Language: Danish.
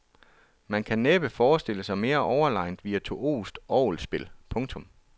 Man kan næppe forestille sig mere overlegent virtuost orgelspil. punktum